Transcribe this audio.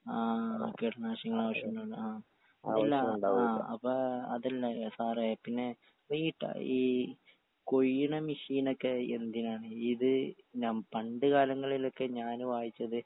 ആ കീടനാശികളുടെ അവശ്യൊന്നുല്ല ആ ഇല്ല ആ അപ്പൊ അതല്ല ഏ സാറേ പിന്നെ വീട്ട ഈ കുഴിയ്ണ മെഷീനൊക്കെ എന്തിനാണ് ഇത് നം പണ്ട് കാലങ്ങളിലൊക്കെ ഞാന് വായിച്ചത്.